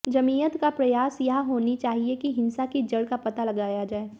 जमीयत का प्रयास यह होनी चाहिए कि हिंसा की जड़ का पता लगाया जाए